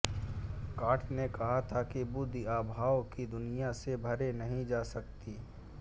can't ने कहा था कि बुद्धि आभास की दुनिया से परे नहीं जा सकती